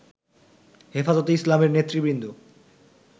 হেফাজতে ইসলামের নেতৃবৃন্দ